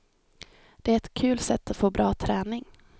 Det är ett kul sätt att få bra träning.